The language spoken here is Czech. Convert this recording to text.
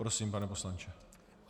Prosím, pane poslanče.